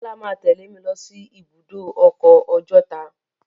Bọ́lá máa a tẹ́lẹ̀ mi lọ sí ibùdó ọkọ̀ Ọjọ́ta.